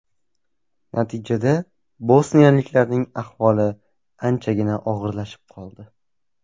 Natijada bosniyaliklarning ahvoli anchagina og‘irlashib qoldi.